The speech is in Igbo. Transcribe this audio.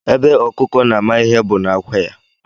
Ebe ọkụkọ na-ama ihe bụ n'ákwà ya